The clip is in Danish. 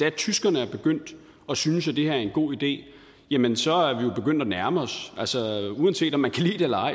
at tyskerne er begyndt at synes at det her er en god idé jamen så er vi jo begyndt at nærme os altså uanset om man kan lide det eller ej